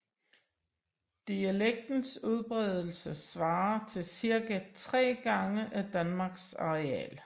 Dialektens udbredelse svarer til cirka 3 gange af Danmarks areal